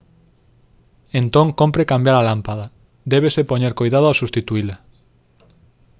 entón cómpre cambiar a lámpada débese poñer coidado ao substituíla